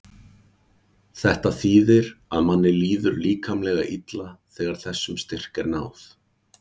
þetta þýðir að manni líður líkamlega illa þegar þessum styrk er náð